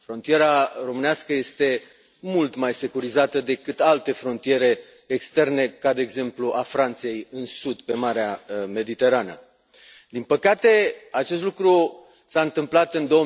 Frontiera românească este mult mai securizată decât alte frontiere externe ca, de exemplu, a Franței, în sud, pe Marea Mediterană. Din păcate, acest lucru s a întâmplat în